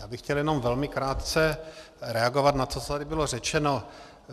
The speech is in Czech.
Já bych chtěl jenom velmi krátce reagovat na to, co tady bylo řečeno.